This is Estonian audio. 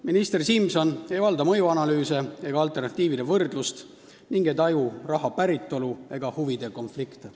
Minister Simson ei valda mõjuanalüüse ega alternatiivide võrdlust ning ei taju raha päritolu ega huvide konflikte.